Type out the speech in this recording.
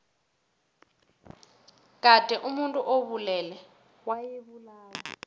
kade omuntu obulele wayebulawa